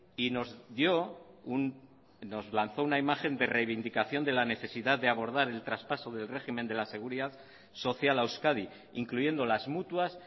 y nos dio nos lanzó una imagen de reivindicación de la necesidad de abordar el traspaso del régimen de la seguridad social a euskadi incluyendo las mutuas